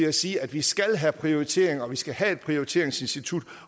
at sige at vi skal have prioriteringer og at vi skal have et prioriteringsinstitut